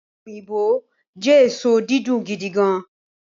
ope oyinbo jẹ eso didun gidigan